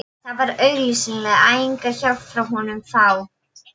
Það var augsýnilega enga hjálp frá honum að fá.